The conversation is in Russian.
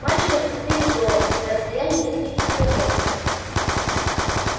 мальчика зацепили зовом на расстоянии нескольких километров